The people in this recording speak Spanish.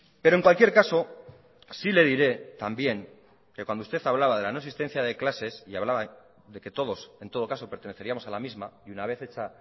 pero en cualquier caso sí le diré también que cuando usted hablaba de la no existencia de clases y hablaba de que todos en todo caso perteneceríamos a la misma y una vez hecha